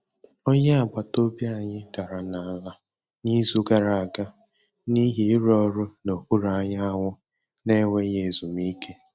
Onye agbata obi anyị dara n'ala n'izu gara aga n'ihi ịrụ ọrụ n'okpuru anyanwụ na-enweghị ezumike.